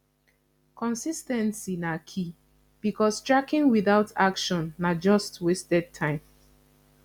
consis ten cy na key because tracking without action na just wasted time